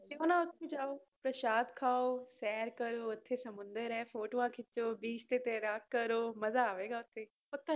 ਦੇਖੋ ਨਾ ਉੱਥੇ ਜਾਓ ਪਰਸ਼ਾਦ ਖਾਓ ਸ਼ੈਰ ਕਰੋ ਉੱਥੇ ਸਮੁੰਦਰ ਹੈ ਫੋਟੋਆਂ ਖਿੱਚੋ beach ਤੇ ਤੈਰਾਕ ਕਰੋ ਮਜ਼ਾ ਆਵੇਗਾ ਉੱਥੇ, ਉੱਥੇ